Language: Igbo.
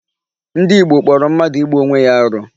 Ndị Igbo kpọrọ mmadụ igbu Onwe ya arụ.